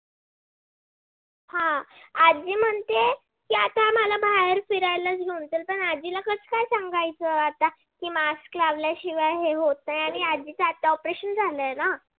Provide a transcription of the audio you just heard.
हा. आजी म्हणते किई मला बाहेर फिरायलाच घेऊन चाल पण आजीला कस काय सांगायचं की mask लावल्याशिवाय आता होत नाही आणि आजीच आता operation झालाय.